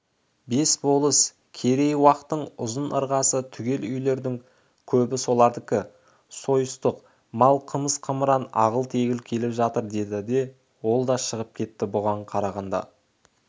бес болыс керей-уақтың ұзын ырғасы түгел үйлердің көбі солардікі сойыстық мал қымыз-қымыран ағыл-тегіл келіп жатыр деді де ол да шығып кетті бұған қарағанда